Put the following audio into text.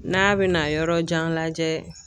N'a bɛna yɔrɔ jan lajɛ.